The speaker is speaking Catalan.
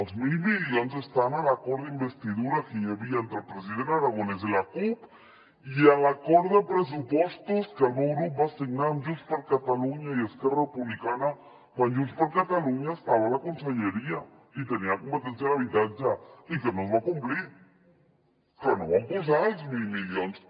els mil milions estan a l’acord d’investidura que hi havia entre el president aragonès i la cup i a l’acord de pressupostos que el meu grup va signar amb junts per catalunya i esquerra republicana quan junts per catalunya estava a la conselleria i tenia competència en habitatge i que no es va complir que no hi van posar els mil milions